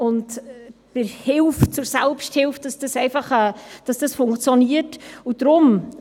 Die Hilfe zur Selbsthilfe funktioniert nicht immer.